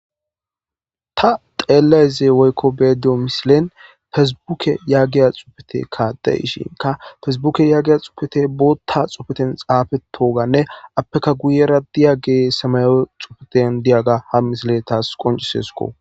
Ta xeelayeze woykko beediyo misilen fesbuke yaagiya xufete kaaday ishinka fesbuke yaggiya xupete bootta xufeten xaafetoganne appeka guyera diyage samayo xufeten diyaga har misile taas qoncisesko.